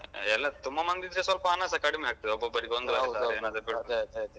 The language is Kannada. ಎಲ್ಲ ತುಂಬ ಮಂದಿ ಇದ್ರೆ ಸ್ವಲ್ಪ ಹಣಸ ಕಡಿಮೆ ಆಗ್ತದೆ ಒಬ್ಬೊಬ್ಬರಿಗೆ ಒಂದೊಂದು ಸಾವಿರ.